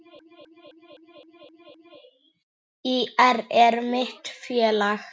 ÍR er mitt félag.